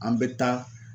An bɛ taa